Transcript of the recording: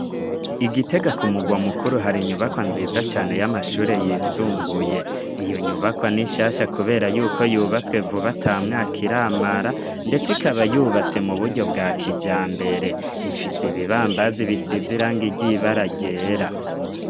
I Gitega ku mugwa mukuru hari inyubakwa nziza cane y'amashure yisumbuye. Iyo nyubakwa ni shasha kubera y'uko yubatswe vuba, ata mwaka iramara ndetse ikaba yubatse mu buryo bwa kijambere, ifise ibibambazi bisize irangi ry' ibara ryera.